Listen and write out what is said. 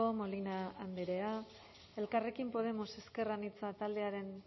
molina andrea elkarrekin podemos ezker anitza taldearen